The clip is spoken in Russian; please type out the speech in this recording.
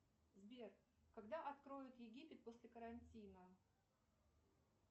сбер когда откроют египет после карантина